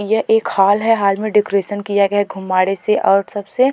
यह एक हॉल है हॉल में डेकोरेशन किया गया है घुम्माड़े से और सब से।